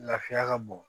Lafiya ka bon